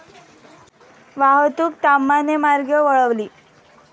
वाहतूक ताम्हानेमार्गे वळवली